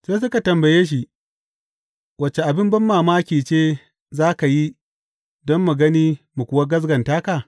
Sai suka tambaye shi, Wace abin banmamaki ce za ka yi don mu gani mu kuwa gaskata ka?